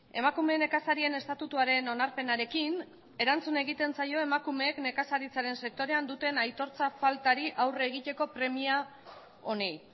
emakume nekazarien estatutuaren onarpenarekin erantzun egiten zaio emakumeek nekazaritzaren sektorean duten aitortza faltari aurre egiteko premia honi